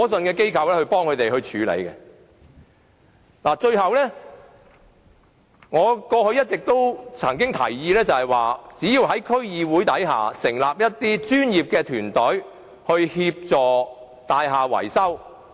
最後，我想指出，過去我一直提議，在區議會下成立一些專業團隊協助大廈維修。